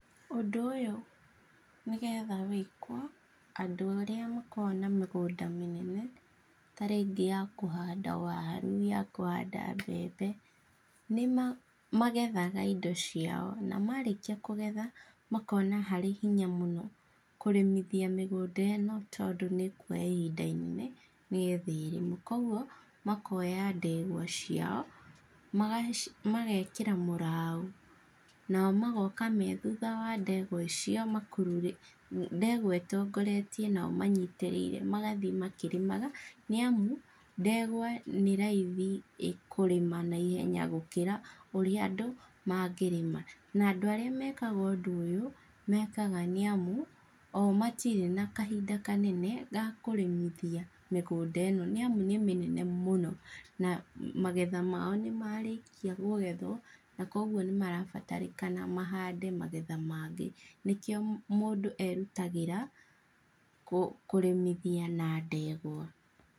Ũndũ ũyũ nĩgetha wĩkwo, andũ arĩa makoragwo na mĩgũnda mĩnene, ta rĩngĩ ya kũhanda waru, yakũhanda mbembe, nĩma magetha indo ciao na marĩkia kũgetha, makona harĩ hinya mũno kũrĩmithia mĩgũndũ ĩno, tondũ nĩkuoya ihinda inene nĩgetha ĩrĩmwo, koguo, makoya ndegwa ciao, magaci magekĩra mũraũ nao magoka methutha wa ndegwa icio makururĩ ndegwa ĩtongoretie, nao manyitĩriire magathiĩ makĩrĩmaga, nĩamu ndegwa nĩraithi ĩkũrĩma na ihenya gũkĩra ũrĩa andũ mangĩrĩma. Na andũ arĩa mekaga ũndũ ũyũ, mekaga nĩamu, o matirĩ na kahinda kanene ga kũrĩmithia migũnda ĩno nĩamu nĩmĩnene mũno, na magetha mao nĩmarĩkia kũgetwo, na koguo nĩmarabatarĩkana mahande magetha mangĩ. Nĩkio mũndũ erutagĩra, kũ kũrĩmithia na ndegwa.